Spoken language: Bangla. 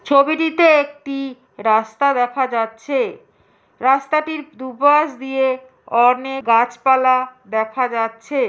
ছবিটিতে একটি রাস্তা দেখা যাচ্ছে। রাস্তাটির দুপাশ দিয়ে অনে গাছপালা দেখা যাচ্ছে।